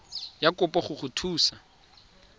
ya kopo go go thusa